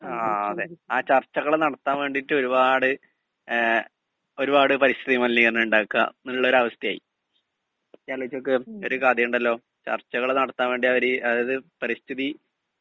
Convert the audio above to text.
speaker 2 ങാ അതേ ആ ചർച്ചകള് നടത്താന് വേണ്ടിയിട്ട് ഒരുപാട് ഒരുപാട് പരിസ്ഥിതി മലിനീകരണം ഉണ്ടാക്കാ എന്നുള്ള ഒരു അവസ്ഥയായി ഒരു കഥയുണ്ടല്ലോ ചർച്ചകള് നടത്താന് വേണ്ടി അവര് അതായത് പരിസ്ഥിതി